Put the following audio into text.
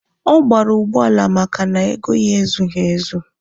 Ọ gbara ụgbọala maka na ego ya ezughi ezu.